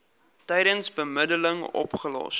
tydens bemiddeling opgelos